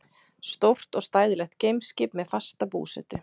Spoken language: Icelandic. Stórt og stæðilegt geimskip, með fasta búsetu.